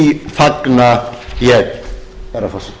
fagna ég herra forseti